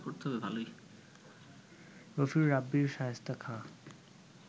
রফিউর রাব্বির শায়েস্তা খাঁ